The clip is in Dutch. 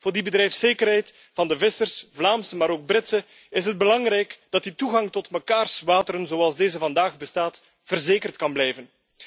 Voor die bedrijfszekerheid van de Vlaamse maar ook Britse vissers is het belangrijk dat die toegang tot elkaars wateren zoals deze vandaag bestaat, verzekerd kan blijven.